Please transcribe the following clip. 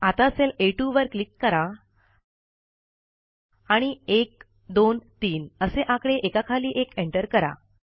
आता सेल आ2 वर क्लिक करा आणि १२३ असे आकडे एका खाली एक एंटर करा